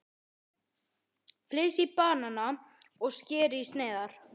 Flysjið bananana og skerið í sneiðar.